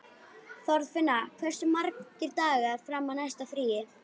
Þorfinna, hversu margir dagar fram að næsta fríi?